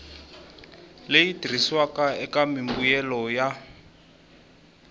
leyi tirhisiwaka eka mimbuyelo ya